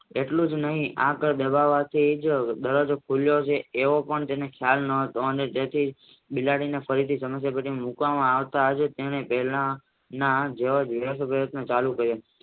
એટલુંજ નહિ આ કાળ ભાગવાથી દરવાજો ખુલશે એવો પણ એને ખ્યાલ નાતો બિલાડીને ફરીથી સમસ્યા ટેટીની અંદર મુકવામાં આવી તેને પ્રેરણા